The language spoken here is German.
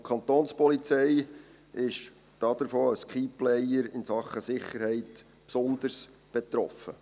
Davon ist die Kantonspolizei als «key player» in Sachen Sicherheit besonders betroffen.